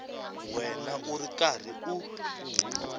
wena u ri karhi u